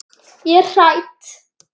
Ég er hrædd.